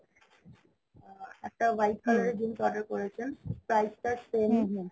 একটা white color এর jeans order করেছেন price টা same